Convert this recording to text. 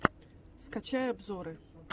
скачай обзоры